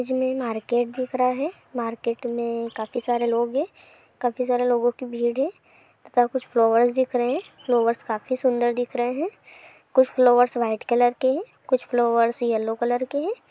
इसमे मार्केट दिख रहा है मार्केट मे काफी सारे लोग है काफी सारे लोगों की भीड़ है तथा कुछ फ्लॉवर्स दिख रहे है फ्लॉवर्स काफी सुंदर दिख रहे है कुछ फलोवेर वाईट कलर के है कुछ फ्लॉवर्स येलो कलर के हैं।